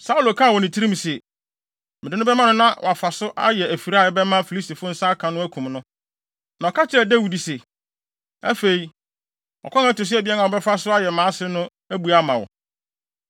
Saulo kaa wɔ ne tirim se, “Mede no bɛma no na wafa so ayɛ afiri a ɛbɛma Filistifo nsa aka no akum no.” Na ɔka kyerɛɛ Dawid se, “Afei, ɔkwan a ɛto so abien a wobɛfa so ayɛ mʼase no abue ama wo.”